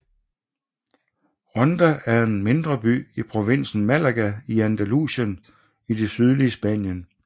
Ronda er en mindre by i provinsen Málaga i Andalusien i det sydlige Spanien